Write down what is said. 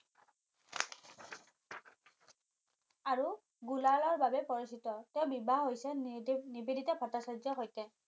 আৰু গোলাৰাৰ বাবে পৰিচিত তেওঁ বিবাহ হৈছে নিবেদিতা ভট্টাচাৰ্যৰ সৈতে